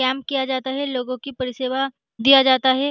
Camp किया जाता है लोगो की परिसेवा दिया जाता है।